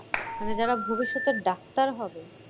মানে যারা ভবিষ্যতের ডাক্তার হবে।